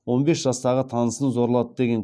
он бес жастағы танысын зорлады деген